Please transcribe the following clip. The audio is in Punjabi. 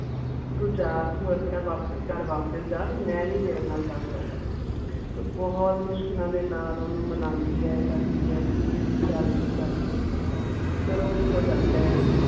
ਓਥੇ ਜਾ ਕੇ ਆਪਣੇ ਘਰ ਵਾਪੀ ਆਪਣੇ ਘਰ ਵਾਪਿਸ ਜਾ ਬੀ ਮੈਂ ਨੀ ਤੇਰੇ ਨਾਲ ਜਾ ਸਕਦਾ ਉਹ ਬਹੁਤ ਮੁਸ਼ਕਿਲ ਦੇ ਨਾਲ ਓਹਨੂੰ ਮਨਾਉਂਦੀ ਆ ਕਰਦੀ ਆ ਬਈ ਨਹੀਂ ਤੂੰ ਚਲ ਤੂੰ ਚਲ ਚਲ ਪਰ ਉਹ ਉਥੋਂ ਚਲਦਾ ਆ